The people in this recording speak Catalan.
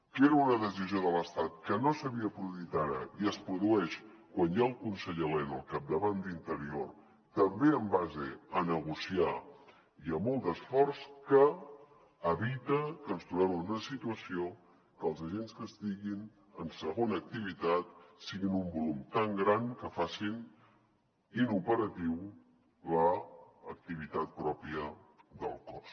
que era una decisió de l’estat que no s’havia produït i es produeix quan hi ha el conseller elena al capdavant d’interior també en base a negociar i amb molt d’esforç que evita que ens trobem en una situació que els agents que estiguin en segona activitat siguin un volum tan gran que facin inoperativa l’activitat pròpia del cos